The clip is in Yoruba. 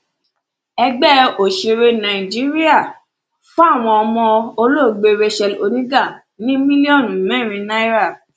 ẹgbẹ òsèré nàìjíríà fáwọn ọmọ olóògbé racheal oníga ní mílíọnù mẹrin náírà